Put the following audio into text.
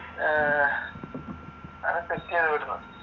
അഹ് അതൊക്കയാ വരുന്നത്